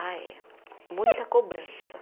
Ah, é. Muita cobrança.